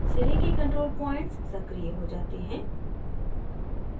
सिरे के control points सक्रिय हो जाते हैं